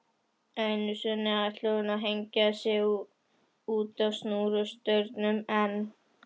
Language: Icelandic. Einu sinni ætlaði hún að hengja sig útá snúrustaurnum en